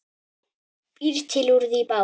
Býr til úr því bát.